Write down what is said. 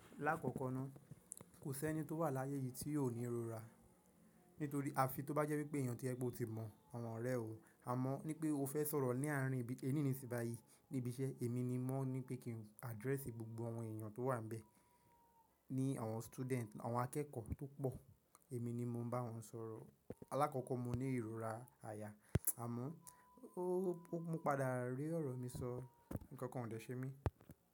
Lákòókò náà, kò sí ẹni tó wà láyé yìí tí yóò ní ìrora. Nítorí a fi tó bá jẹ́ wípé èèyàn tí ẹ ko ti mọ̀, àwọn ọ̀rẹ́ o. Àmọ́ ní pé o fẹ́ sọ̀rọ̀ ní àárín ẹní níṣìbàáyìí níbi iṣẹ́, èmi ni mo ní pé kí n address gbogbo àwọn èèyàn tó wà níbẹ̀. Ni àwọn student, àwọn akẹ́kọ̀ọ́ tó pọ̀, èmi ni mo ń bá wọn sọ̀rọ̀. Alákọ́kọ́ mo ní ìrora àyà, àmọ́ mo padà rí ọ̀rọ̀ mi sọ, nǹkan kan ò dè ṣẹ mi.